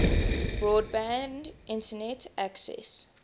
broadband internet access